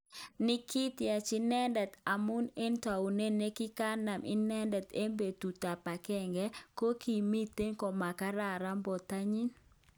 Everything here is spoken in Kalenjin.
Nikitiach inetet abun en tanuet nekikanam inetet en petut ap agenge ,kikomiten komakaran portanyi.